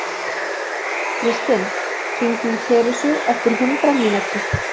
Kristinn, hringdu í Teresu eftir hundrað mínútur.